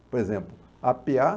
Por exemplo, a pê á